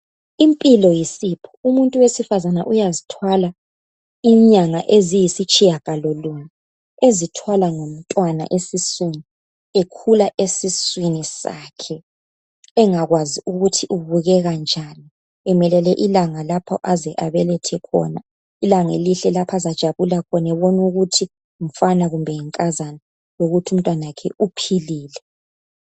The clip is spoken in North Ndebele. Impilo yisipho umuntu owesifazana uyazithwala inyanga eziyisitshiyangalo lunye ezithwala ngomntwana esiswini ekhula esiswini sakhe engakwazi ukuthi ubukeka njani emelele ilanga lapha aze abelethe khona ilanga elihle lapha azajabula khona ebona ukuthi ngumfana kumbe yinkazana lokuthi umntwana wakhe uphilile